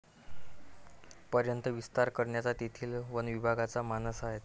पर्यंत विस्तार करण्याचा तेथील वनविभागाचा मानस आहे.